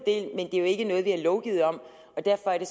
det er jo ikke noget vi har lovgivet om og derfor er det